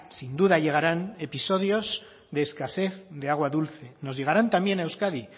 sin duda llegarán episodios de escasez de agua dulce nos llegarán también a euskadi